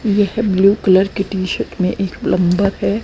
यह blue colour की T shirt में एक प्लंबर है।